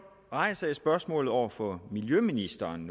rejser jeg nu spørgsmålet over for miljøministeren